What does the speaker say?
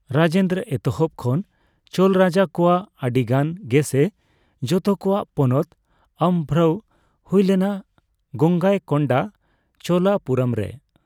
ᱨᱟᱡᱮᱱᱫᱨᱚ ᱮᱛᱚᱦᱚᱵ ᱠᱷᱚᱱ ᱪᱳᱞ ᱨᱟᱡᱟ ᱠᱚᱣᱟᱜ ᱟᱹᱰᱤᱜᱟᱱ ᱜᱮ ᱥᱮ ᱡᱚᱛᱚ ᱠᱚᱣᱟᱜ ᱯᱚᱱᱚᱛ ᱟᱢᱵᱷᱨᱟᱹᱣ ᱦᱩᱭᱞᱮᱱᱟ ᱜᱚᱝᱜᱟᱭᱠᱳᱱᱰᱟ ᱪᱳᱞᱟᱯᱩᱨᱚᱢ ᱨᱮ ᱾